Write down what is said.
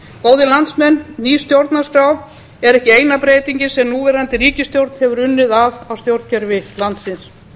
góðir landsmenn ný stjórnarskrá er ekki eina breytingin sem núverandi ríkisstjórn hefur unnið að á stjórnkerfi landsins